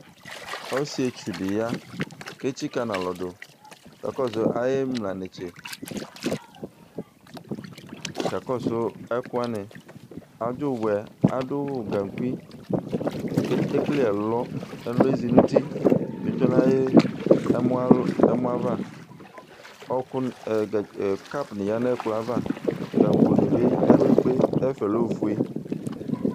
Ɔsietsu di ya, k'etsika n'alɔdʋ kakɔsʋ ayimla netse, kakɔsʋ ɛkʋwani, adʋ gankui k'ekele ɛlɔ, ɛlɔ yɛ edzi n'uti b:etsue n'ayi l ɛmɔ l ɛmɔ ava, ɔkʋ ɔ cup ni yǝ n'ɛkplɔ ava, gango ni bi yǝ kpekpekpe, ɛfuɛ lɛ ofue